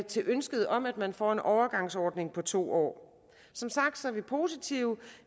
til ønsket om at man får en overgangsordning på to år som sagt er vi positive